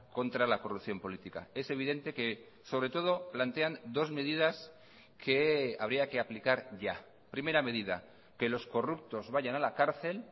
contra la corrupción política es evidente que sobre todo plantean dos medidas que habría que aplicar ya primera medida que los corruptos vayan a la cárcel